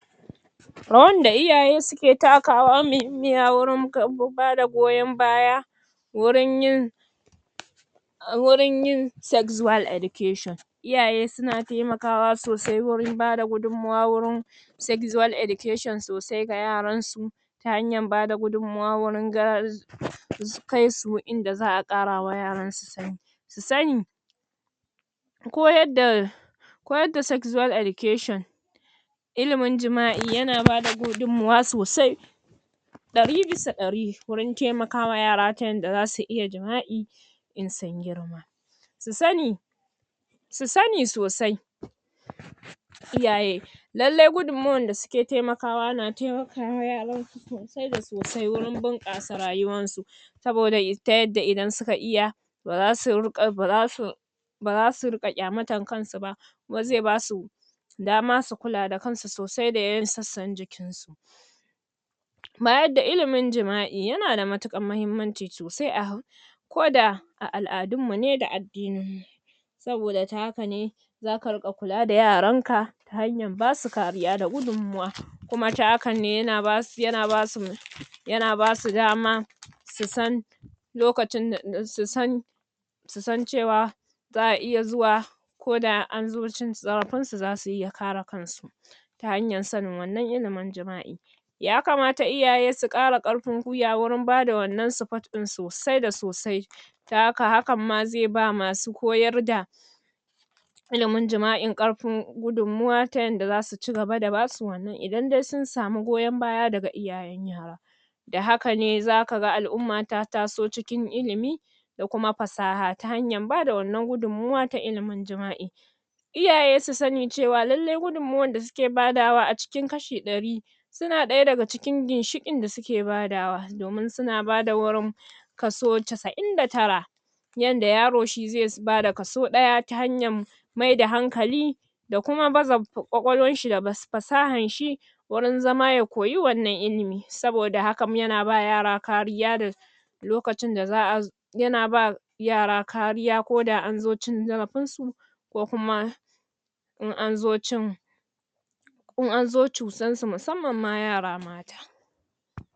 Rawar da iyaye suke takawa mihimmiya wurin bada goyan baya wurin yin wurin yin sexual education iyaye suna taimakawa sosai wurin bada gudun ma wa sexual education sosai ga yaran su ta hanyar bada gudun mawa wurin gar su kai su inda za'a ƙarawa yaransu sani su sani koyar da koyar da sexual education ilimin jima'i yana bada gudun mawa sosai ɗari bisa ɗari wurin taimakawa yara ta yadda zasu iya jima'i in sun girma su sani su sani sosai iyaye lallai gudun mawar da suke taimakawa na taimakawa yaran sosai da sosai wurin buƙasa rayuwar su saboda um ta yadda idan suka iya ba zasu riƙa, ba zasu ba zasu riƙa kyamatar kansu ba kuma zai basu dama su kula da kansu sosai da yana sassan jikin sau bayar da ililin jima'i yana da matuƙar mahimmanci sosai a hau ko da koda a al'adun mu ne da addininmu saboda ta haka ne zaka riƙa kula da yaran ka ta hanyar basu kariya da gudun mawa kuma ta hakan yana basu, yana basu yana basu dama su san lokacinda um su san su san cewa za'a iya zuwa koda an zo cin zarafin su, zasu iya kare kansu ta hanyar sanin wannan ilimin jima'in yakamata iyaye su ƙara ƙafin gwiwa wurin bada wannan support ɗin sosai da sosai taka hakan ma zai ba masu koyar da ilimin jima'in ƙarfin gudun mawa ta yadda zasu cigaba da basu wannan, idan dai sun samu koyan baya daga iyayen yara da hakane zakaga al'umma ta taso cikin illimi da kuma fasaha ta hanyar bada wannan gudun nawar ta ilimin jima'i iyaye su sani cewa lallai gudun nawar da suke badawa a cikin kashi ɗari suna ɗaya daga cikin ƙinshiƙin da suke badawa domin suna badawa wurin kaso cassa'in da tara yadda yaro shi zai bada kaso ɗaya ta hanyar mai da hankali da kuma bazawa kwakwlwar shi da um fasahar shi wurin zama ya koyi wannan ilimi saboda hakan yana bawa yara kariya lokacin da za'a zo yana ba yara kariya koda anzo cikin zarafin su ko kuma in azo cin in anzo cutar su musamman ma yara mata